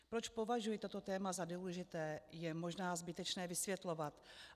Proč považuji toto téma za důležité, je možná zbytečné vysvětlovat.